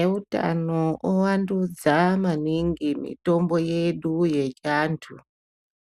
Eutano ovandudza maningi mitombo yedu yechiantu.